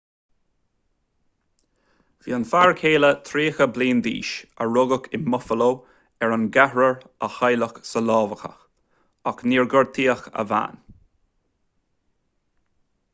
bhí an fear céile tríocha bliain d'aois a rugadh in buffalo ar an gceathrar a cailleadh sa lámhachadh ach níor gortaíodh a bhean